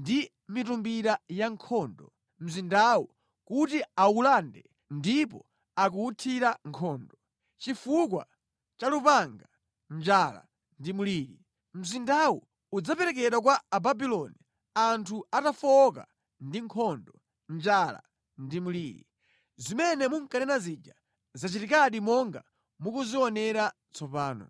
ndi mitumbira yankhondo mzindawu kuti awulande ndipo akuwuthira nkhondo. Chifukwa cha lupanga, njala ndi mliri. Mzindawu udzaperekedwa kwa Ababuloni anthu atafowoka ndi nkhondo, njala ndi mliri. Zimene munkanena zija zachitikadi monga mukuzionera tsopano.